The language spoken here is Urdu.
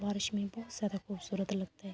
بارش مے بھوت سارا خوبصورت لگتا ہے۔